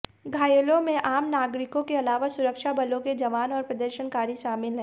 घायलों में आम नागरिकों के अलावा सुरक्षाबलों के जवान और प्रदर्शनकारी शामिल हैं